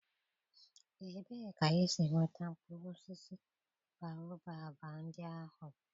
Ebee ka isi nweta mkpụrụ osisi Baobab ndị ahụ?